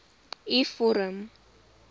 u vorm